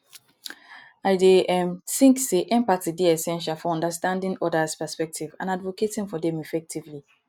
i dey um think say empathy dey essential for understanding odas perspectives and advocating for dem effectively